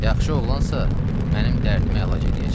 Yaxşı oğlansa, mənim dərdimi əlac eləyəcək.